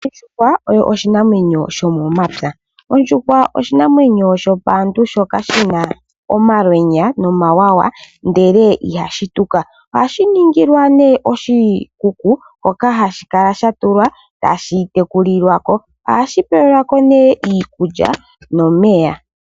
Ondjuhwa oyo oshinamwenyo sho momapya, ondjuhwa oshinamwenyo shopaantu shoka shina omalwenya no mawawa, ndele ihashi tuka. Ohashi ningilwa nee oshikuku hoka hashi kala sha tulwa tashi tekulilwa ko, ohashi pewelwako nee iikulya, nomeya.